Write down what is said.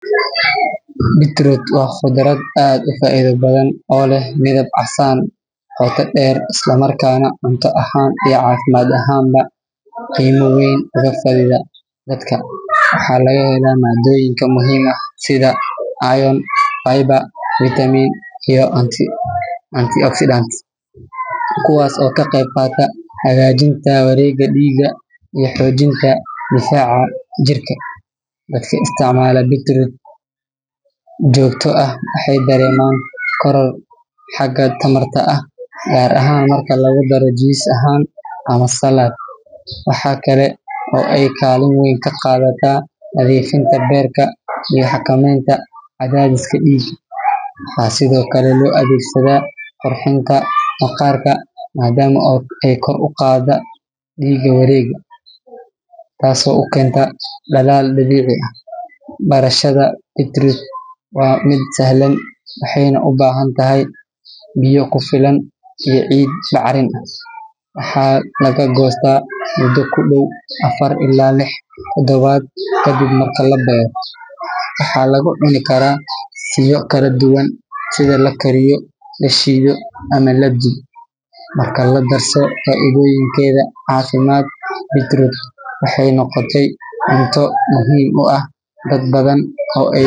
Beetroot waa qudraad aad ufaidha badan oo leh midab casan oo kader isla markana cunto ahan iyo cafimaad ahan ba qima weyn oo la xirira dadka waxaa laga hela madoyinka muhiim ka eh sitha iron Amber vitamin iyo unti accident kuwas oo ka qeyb qata hagajinta Warega diga iyo xojinta difaca jirka, waxaa lo isticmala beetroot jogto ah waxee dareman koror gar ahan marka laga daremo jin ahan ama salaad, waxaa kale oo ee kalin weyn ka qadhataa nadhifinta beerta waxaa kamiid ah cadhadhiska diga, waxaa sithokale lo adhegsadha qurxinta maqarka madama ee kor uqada diga warega tas oo ukenta dalal dabici ah barashaada beetroot waa miid sahlan waxee nah u bahantahay biyo kufilan iyo cid bacrin, waxaa laga gosta mudo kudow lawa ila sadax lix ta dawaad kadib marki labero waxaa lagu cuni karaa suga kala duqan sitha lakariyo lashidho ama laduwo inkasto cafimaad beetroot waxee noqote cunto muhiim u ah dad badan oo ah.